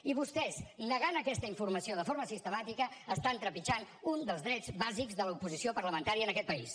i vostès negant aquesta informació de forma sistemàtica estan trepitjant un dels drets bàsics de l’oposició parlamentària en aquest país